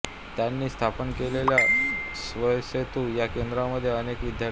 त्यांनी स्थापन केलेल्या स्वरसेतू या केंद्रामध्ये अनेक विद्यार्थी